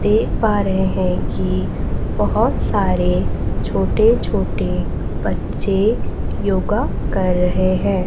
देख पा रहे हैं की बहोत सारे छोटे छोटे बच्चे योगा कर रहे हैं।